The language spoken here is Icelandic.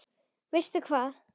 Veistu hvað?